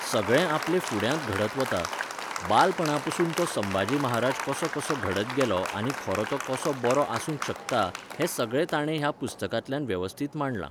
सगळें आपले फुड्यांत घडत वता, बालपणापसून तो संभाजी महाराज कसो कसो घडत गेला आनी खरो तो कसो बरो आसूंक शकता, हें सगळें ताणें ह्या पुस्तकांतल्यान वेवस्थीत मांडलां.